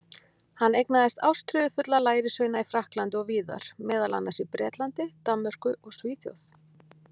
Hann eignaðist ástríðufulla lærisveina í Frakklandi og víðar, meðal annars í Bretlandi, Danmörku og Svíþjóð.